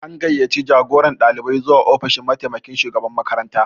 An gayyaci jagoran ɗalibai zuwa ofishin mataimakin shugaban makaranta